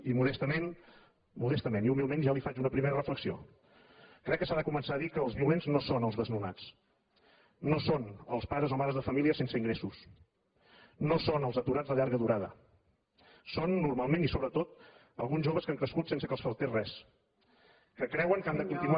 i modestament i humilment ja li faig una primera reflexió crec que s’ha de començar a dir que els violents no són els desnonats no són els pares o les mares de família sense ingressos no són els aturats de llarga durada són normalment i sobretot alguns joves que han crescut sense que els faltés res que creuen que han de continuar